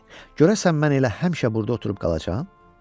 Görəsən mən elə həmişə burada oturub qalacam?